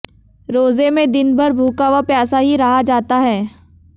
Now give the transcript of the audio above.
रोजे में दिन भर भूखा व प्यासा ही रहा जाता है